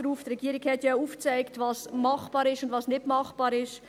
Die Regierung hat ja aufgezeigt, was machbar ist und was nicht machbar ist.